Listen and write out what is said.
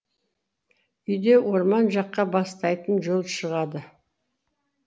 үйден орман жаққа бастайтын жол шығады